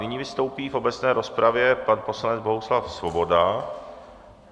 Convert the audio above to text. Nyní vystoupí v obecné rozpravě pan poslanec Bohuslav Svoboda.